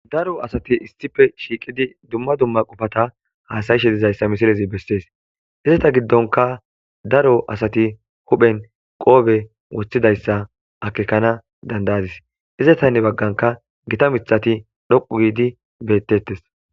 Daro asati istife shiiqidi dumma dumma qofata haasayishe dizayssa misilezi bessees izeta giddonka daro asati huphen qoobe woththidayssa akekana dandayadis izetanne bagganka gita mixati dhoqu giidi bettettes.